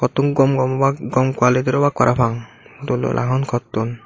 tun gom gom obak gom qualitir obak parapang dol dol agon koton.